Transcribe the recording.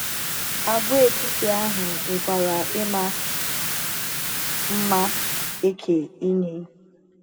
Àgwàetiti ahụ nwekwara ịma mma eke inye.